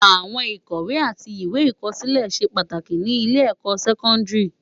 Áwòn ikòwé ati iwé ikòsilé sé pàtáki ni ilé èkò sèkòndári